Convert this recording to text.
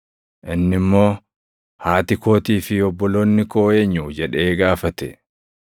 Inni immoo, “Haati kootii fi obboloonni koo eenyu?” jedhee gaafate.